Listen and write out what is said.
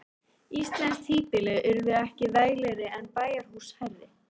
Íslensk híbýli urðu ekki veglegri eða bæjarhús hærri.